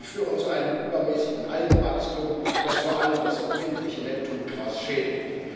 Sie führen zu einem übermäßigen Algenwachstum, das vor allem das empfindliche Neptungras schädigt.